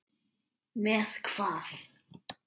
Með hvað?